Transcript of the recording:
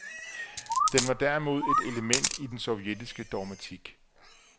Den var derimod et element i den sovjetiske dogmatik.